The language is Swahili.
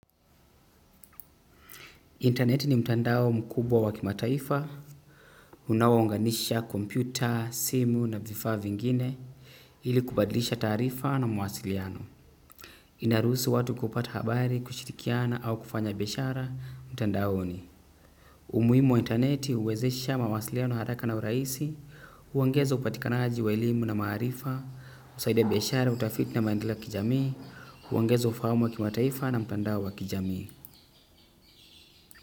Intaneti ni mtandao mkubwa unaounganisha kompyuta, simu na vifaa vingine ili kubadilisha taarifa na mawasiliano. Inaruhusu watu kupata habari, kushirikiana au kufanya biashara, mtandaoni. Umuhimu wa internet huwezesha mawasiliano haraka na urahisi, huongeza upatikanaji wa elimu na maarifa, husaidia biashara, utafiti na maendeleo kijami, huongeza ufahamu wa kimataifa na mtandao wa kijami.